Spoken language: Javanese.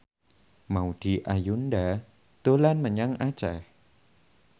Maudy Ayunda dolan menyang Aceh